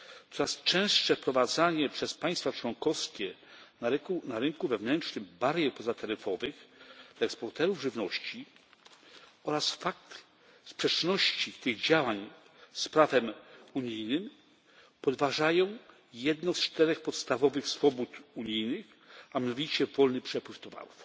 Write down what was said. Coraz częstsze wprowadzanie przez państwa członkowskie na rynku wewnętrznym barier pozataryfowych dla eksporterów żywności oraz fakt sprzeczności tych działań z prawem unijnym podważają jedną z czterech podstawowych swobód unijnych, a mianowicie swobodny przepływ towarów.